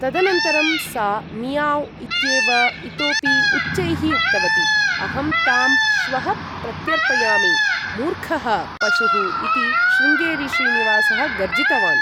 तदनन्तरं सा मियाव्ँ' इत्येव इतोपि उच्चैः उक्तवती। अहं तां श्वः प्रत्यर्पयामि। मूर्खः पशुः इति शृङ्गेरी श्रीनिवासः गर्जितवान्।